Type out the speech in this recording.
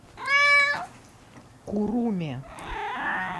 куруме